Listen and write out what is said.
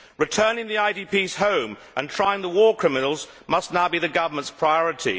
Returning the IDPs home and trying the war criminals must now be the government's priority.